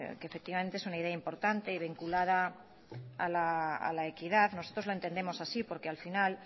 que efectivamente es una idea importante y vinculada a la equidad nosotros la entendemos así porque al final